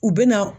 U bɛna